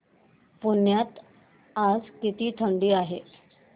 पुण्यात आज किती थंडी आहे